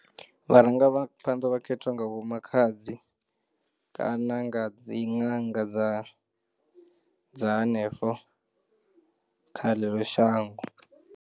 Vharangaphanḓa vha khethwa nga vho-makhadzi kana nga dzi ṅanga dza dza hanefho kha ḽeḽo shango.